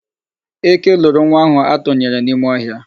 Eke loro nwa ahụ atụnyere n'ime ọhịa.